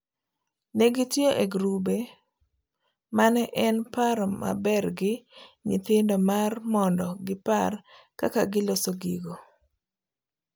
Ne gitiyo e girube mane en paro mabergi nyithindo mar mondo gipar kaka giloso gigo,